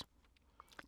DR1